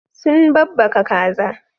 Sun babbaka kaza.